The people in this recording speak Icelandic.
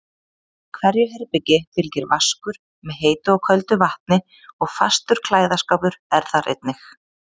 Hverju herbergi fylgir vaskur með heitu og köldu vatni og fastur klæðaskápur er þar einnig.